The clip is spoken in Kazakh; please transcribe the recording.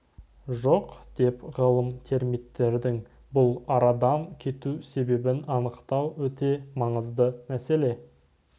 жоқ деп ғалым термиттердің бұл арадан кету себебін анықтау өте маңызды мәселе